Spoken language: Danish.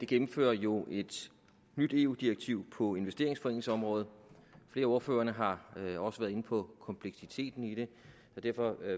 gennemfører jo et nyt eu direktiv på investeringsforeningsområdet flere af ordførerne har også været inde på kompleksiteten i det og derfor